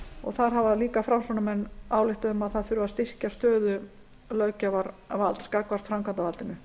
og þar hafa líka framsóknarmenn ályktað um að styrkja þurfi stöðu löggjafarvalds gagnvart framkvæmdarvaldinu